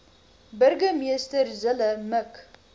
burgemeester zille mik